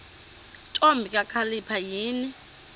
ntombi kakhalipha yini